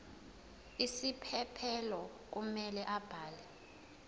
isiphephelo kumele abhale